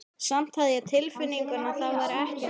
Samt hafði ég á tilfinningunni að það væri ekki nóg.